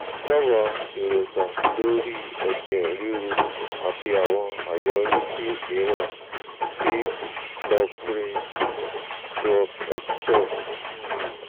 dábàá èròǹgbà lórí i ẹ̀jẹ̀ ríru àti àwọn àyọrísí mìíràn ti loprin+extor um